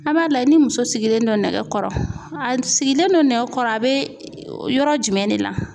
A b'a layɛ ni muso sigilen don nɛgɛkɔrɔ a sigilen don nɛgɛkɔrɔ a bɛ yɔrɔ jumɛn de la.